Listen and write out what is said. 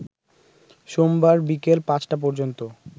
সোমবার বিকেল ৫টা পর্যন্ত